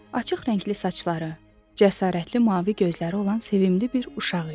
Açıq rəngli saçları, cəsarətli mavi gözləri olan sevimli bir uşaq idi.